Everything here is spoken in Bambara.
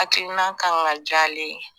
Hakilina kan ka jalen ye